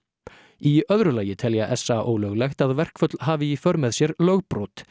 í öðru lagi telja s a ólöglegt að verkföll hafi í för með sér lögbrot